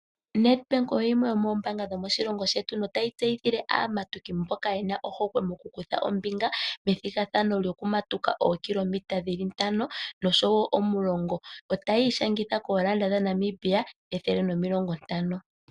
Nedbank oyo yimwe yomoombaanga dhomoshilongo shetu notayi tseyithile aamatuki mboka ye na ohokwe moku kutha ombinga methigathano lyokumatuka ookilometa dhili ntano, nosho wo omulongo. Otaya ishangitha koondola dhaNamibia ethele nomilongo ntano.